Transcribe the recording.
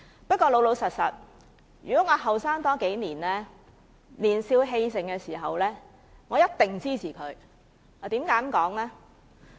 不過，老實說，如果我年輕數年，在我年少氣盛時，我一定會支持他的議案。